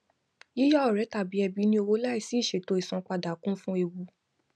yíya ọrẹ tàbí ẹbí ní owó láìsí ìṣètò isanpada kún fún ewu